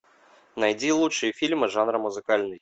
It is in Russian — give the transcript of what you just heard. найди лучшие фильмы жанра музыкальный